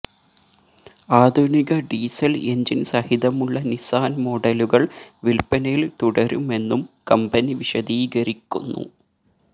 ആധുനിക diesel engine സഹിതമുള്ള Nissan മോഡലുകൾ വിൽപ്പനയിൽ തുടരുമെന്നും കമ്പനി വിശദീകരിക്കുന്നു